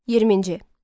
20-ci.